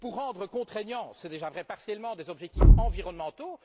Pour rendre contraignant c'est déjà vrai partiellement des objectifs environnementaux?